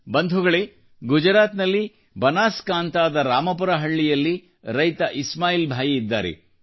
ಬಂಧುಗಳೇ ಗುಜರಾತ್ನಲ್ಲಿ ಬನಾಸಕಾಂಠಾದ ರಾಮಪುರ ಹಳ್ಳಿಯಲ್ಲಿ ರೈತ ಇಸ್ಮಾಯಿಲ್ಭಾಯಿ ಇದ್ದಾರೆ